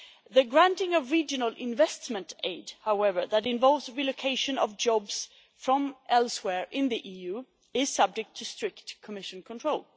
The granting of regional investment aid, however, that involves the relocation of jobs from elsewhere in the EU is subject to strict Commission control.